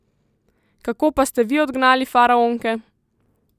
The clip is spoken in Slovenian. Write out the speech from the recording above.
Kako pa ste vi odgnali faraonke?